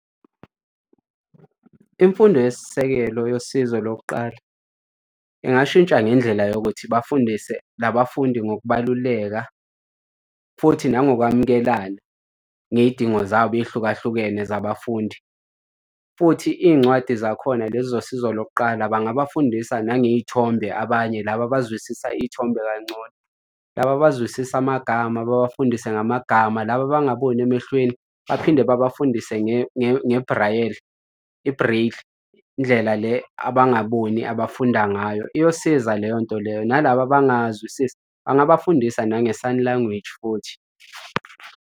Imfundo yesisekelo yosizo lokuqala ingashintsha ngendlela yokuthi bafundise labafundi ngokubaluleka futhi nangokwamukelana ngey'dingo zabo ey'hlukahlukene zabafundi. Futhi iy'ncwadi zakhona lezi zosizo lokuqala bangabafundisa nangey'thombe abanye laba abazwisisa iy'thombe kancono. Laba abazwisisi amagama babafundise ngamagama laba abangaboni emehlweni baphinde babafundise ngebhrayeli, i-braille, indlela le abangaboni abafunda ngayo iyosiza leyo nto leyo. Nalaba abangazwisisi angabafundisa nange-sign language futhi.